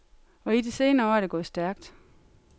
Og i de senere år er det gået stærkt.